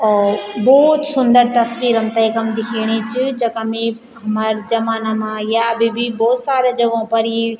ओ भौत सुन्दर तसवीर हमथे यखम दिखेणी च जखम ई हमार जमना मा या अभी भी भौत सारा जगो पर ई।